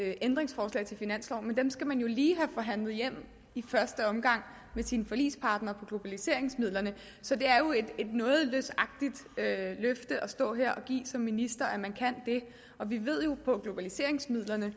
af ændringsforslag til finansloven men dem skal man jo lige have forhandlet hjem i første omgang med sin forligspartner på globaliseringsmidler så det er jo et noget løsagtigt løfte at stå her og give som minister at man kan det og vi ved jo på globaliseringsmidler at der